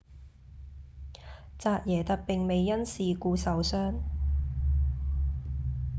扎耶特並未因事故受傷